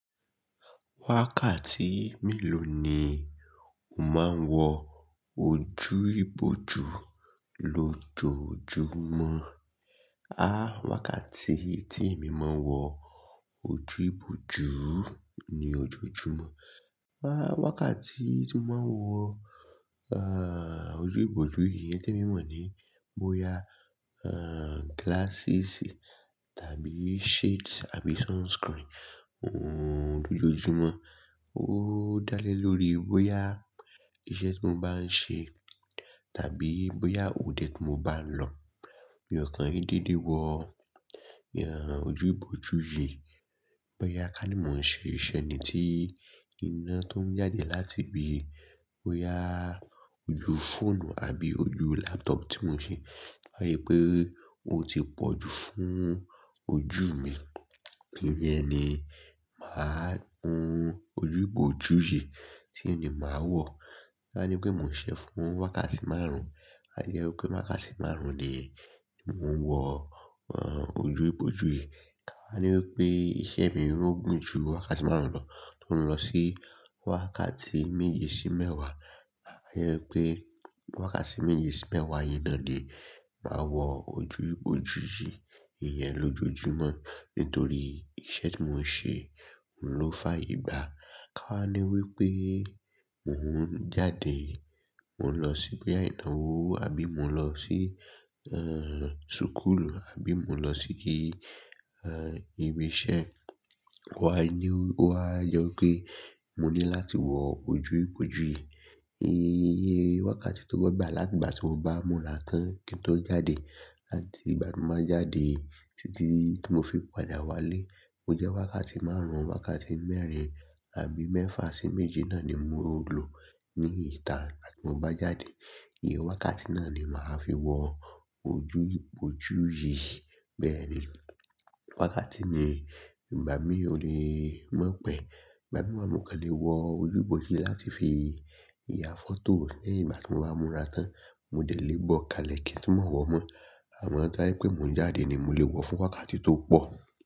Wákàtí mélòó ni o máa ń wọ ojú ìbòjú lójoojúmọ́? Ah! Wákàtí tí èmi máa ń wọ ojú ìbòjú ní ojoojúmọ́, ah! Wákàtí tí mo máa ń wọ, ah, ojú ìbòjú yìí tí mo mọ̀ ni bóyá, ah, glasses tàbí shades tàbí sunscreen, ohun lójoojúmọ́. Ó dá lé lórí bóyá iṣẹ́ tí mo bá ń ṣe tàbí bóyá òde tí mo bá ń lọ. Bí ọkàn yìí dédé wọ, ìyà ọ̀ ojú ìbòjú yìí, bóyá kàní mó ń ṣe ìṣe ni tí iná tó ń jáde láti ibi, bóyá ojú fóònù àbí ojú laptop tí mò ń ṣe, tó yẹ pé ó ti pọ̀ ju fún ojú mi. Ìyẹn ni màá hun ojú ìbòjú yìí tí èmi máa wọ̀. Ká ní pé mò ń ṣe fún wákàtí márùn-ún, a ye wí pé wákàtí márùn-ún ni mò ń wọ, ah, ojú ìbòjú yìí. Ká ní wí pé iṣẹ́ mi ń rún gùn ju wákàtí márùn-ún lọ, tó ń lọ sí wákàtí méje sí mẹ́wàá, a ye wí pé wákàtí méje sí mẹ́wàá yìí náà ni màá wọ ojú ìbòjú yìí, ìyẹn lójoojúmọ́ nítorí iṣẹ́ tí mò ń ṣe ló fà ìgbà. Ká ní wí pé mò ń jáde, mò ń lọ síboya ìnáwó àbí mò ń lọ sí, ahn, súkúlù àbí mò ń lọ sí, ahn, ibi iṣẹ́, wá yí ni ó wá yọ pé mó ní láti wọ ojú ìbòjú yìí. Eh! Wákàtí tó gbọ́ gbà láti ìgbà tí mo bá múra tán kí n tó jáde láti ìgbà tí mo bá jáde títí tí mo fi padà wálé, ó jẹ́ wákàtí márùn-ún, wákàtí mẹ́rin àbí mẹ́fà sí méje náà ni mò ń lò ní ìta láti mo bá jáde. Iye wákàtí náà ni màá fi wọ ojú ìbòjú yìí bẹ́ẹ̀ ni. Wákàtí ni ìgbà mí ò lè mọ̀ pẹ̀. Ìgbà mìíràn mò kàn lè wọ ojú ìbòjú yìí láti fi ya fọ́tò lẹ́yìn ìgbà tí mo bá múra tán. Mo dè lè bọ kalẹ̀ kí n tu mọ̀ wọ́ mọ́. Àmọ́ tí ẹ pé mò ń jáde ni mò lè wọ fún wákàtí tó pọ̀.